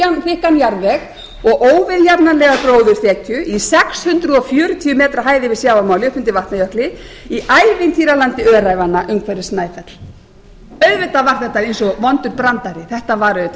og óviðjafnanlega gróðurþekju í sex hundruð fjörutíu metra hæð yfir sjávarmáli upp undir vatnajökli í ævintýralandi öræfanna umhverfis snæfell auðvitað var þetta eins og vondur brandari þetta var auðvitað